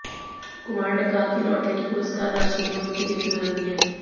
कुमार ने कहा कि लॉटरी की पुरस्कार राशि ने उनकी जिंदगी बदल दी है